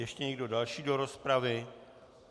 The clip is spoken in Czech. Ještě někdo další do rozpravy?